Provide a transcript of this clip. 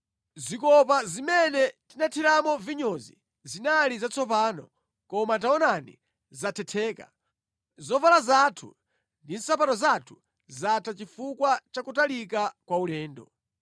Zikopa zimene tinathiramo vinyozi zinali zatsopano, koma taonani zathetheka. Zovala zathu ndi nsapato zathu zatha chifukwa cha kutalika kwa ulendo.